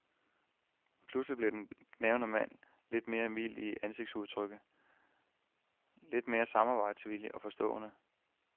Pludselig blev den gnavne mand lidt mere mild i ansigtsudtrykket, lidt med samarbejdsvillig og forstående.